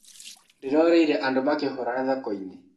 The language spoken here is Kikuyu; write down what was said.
Ndĩroreire andũ makĩhũrana thokoinĩ.